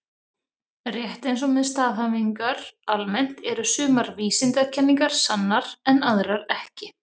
Rétt eins og með staðhæfingar almennt eru sumar vísindakenningar sannar en aðrar ekki.